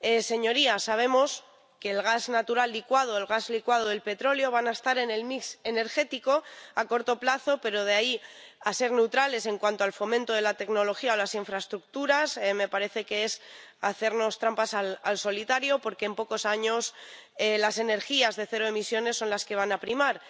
Señorías, sabemos que el gas natural licuado, el gas licuado del petróleo, va a estar en el mix energético a corto plazo, pero de ahí a ser neutrales en cuanto al fomento de la tecnología o las infraestructuras, me parece que es hacernos trampas al solitario, porque en pocos años las energías de cero emisiones son las que van a primar.